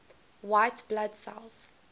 white blood cells